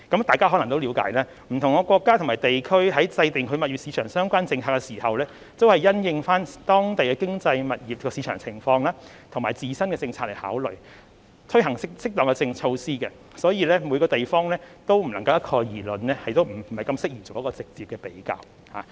大家可能也了解，不同國家和地區在制訂物業市場相關政策時，都是因應當地的經濟、物業市場情況和自身政策來考慮，以推行適當的措施，因此，每個地方都不能一概而論，亦不適宜作直接的比較。